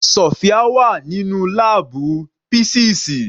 Sofia wà nínú láàbù písíìsì.